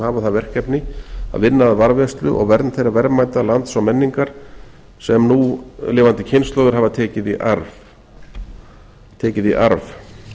hafa það verkefni að vinna að varðveislu og vernd þeirra verðmæta lands og menningar sem núlifandi kynslóðir hafa tekið í arf